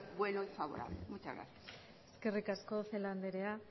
bueno y favorable muchas gracias eskerrik asko celaá anderea